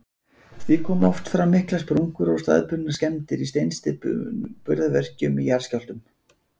Því koma oft fram miklar sprungur og staðbundnar skemmdir í steinsteyptum burðarvirkjum í jarðskjálftum.